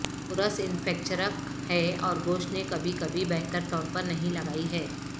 course انفیکچرک ہے اور گوشت نے کبھی کبھی بہتر طور پر نہیں لگائی ہے